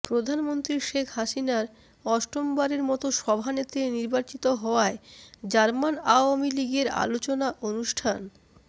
প্রধানমন্ত্রী শেখ হাসিনার অষ্টম বারের মত সভানেত্রী নির্বাচিত হওয়ায় জার্মান আওয়ামী লীগের আলোচনা অনুষ্ঠান